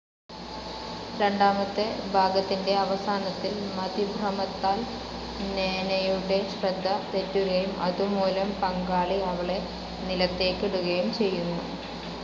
രണ്ടാമത്തെ ഭാഗത്തിൻ്റെ അവസാനത്തിൽ, മതിഭ്രമത്താൽ നേനയുടെ ശ്രദ്ധ തെറ്റുകയും, അതുമൂലം പങ്കാളി അവളെ നിലത്തേയ്ക് ഇടുകയും ചെയ്യുന്നു.